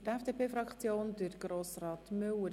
Für die FDP-Fraktion hat Grossrat Müller das Wort.